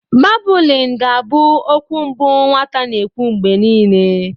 Babụlịn ga abụ okwu mbụ nwata na-ekwu mgbe niile.